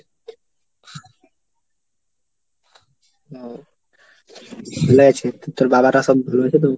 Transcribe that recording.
ও তো ভালো আছি তোর বাবারা সব ভালো আছে তো?